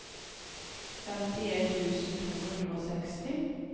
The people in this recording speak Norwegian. femtien tusen to hundre og seksti